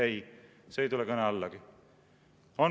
Ei, see ei tule kõne allagi.